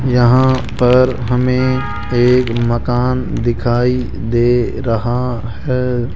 यहां पर हमें एक मकान दिखाई दे रहा है।